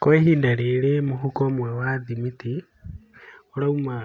Kwa ihinda rĩrĩ mũhuko ũmwe wa thimiti ũrauma